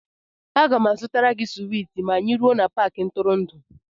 A ga m azụtara gị swiiti ma anyị ruo n'Paakị ntụrụndụ